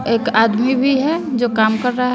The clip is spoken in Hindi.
एक आदमी भी है जो काम कर रहा--